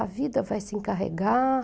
A vida vai se encarregar.